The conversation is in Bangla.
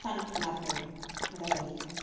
স্থান লাভ করবে মেধা তালিকায়,